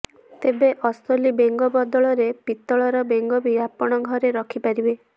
ତେବେ ଅସଲି ବେଙ୍ଗ ବଦଳରେ ପିତଳର ବେଙ୍ଗ ବି ଆପଣ ଘରେ ରଖିପାରିବେ